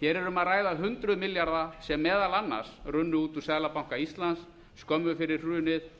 hér er um að ræða hundruð milljarða sem meðal annars runnu út úr seðlabanka íslands skömmu fyrir hafið